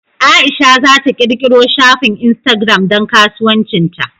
Aisha za ta ƙirƙiro shafin Instagram don kasuwancin ta.